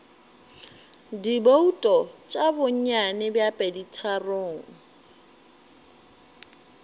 dibouto tša bonnyane bja peditharong